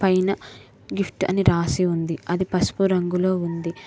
పైనా గిఫ్ట్ అని రాసి ఉంది అది పసుపు రంగులో ఉంది.